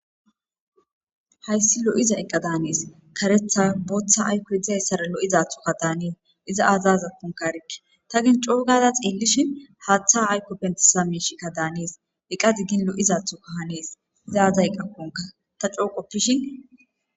Haysi lo'iza eqa danesi. Karetha bootha aykoy de'izaysara lo'izathoka danesi. Iza aza azakonka erike ta gin coo gaada xeelishn Hatha ayko pentisiya mishika Danes. Eqazi gin lo'iza mthoka Hanes, izi aza azakon. Ta co qopishin ....